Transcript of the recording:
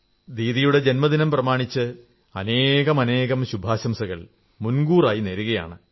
ദീദിയുടെ ജന്മദിനം പ്രമാണിച്ച് അനേകാനേകം ശുഭാശംസകൾ മുൻകൂറായി നേരുന്നു